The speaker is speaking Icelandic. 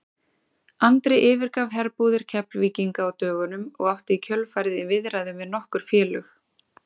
Andri yfirgaf herbúðir Keflvíkinga á dögunum og átti í kjölfarið í viðræðum við nokkur félög.